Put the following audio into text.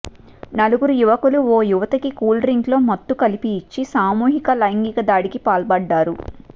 నలుగురు యువకులు ఓ యువతికి కూల్ డ్రింక్లో మత్తు కలిపి ఇచ్చి సామూహిక లైంగిక దాడికి పాల్పడ్డారు